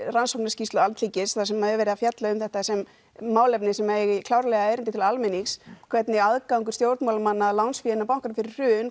rannsóknarskýrslu Alþingis þar sem er verið að fjalla um þetta sem málefni sem eigi klárlega erindi til almennings hvernig aðgangur stjórnmálamanna að lánsfé bankanna fyrir hrun